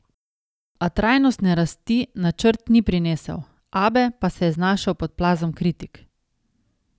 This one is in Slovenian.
A trajnostne rasti načrt ni prinesel, Abe pa se je znašel pod plazom kritik.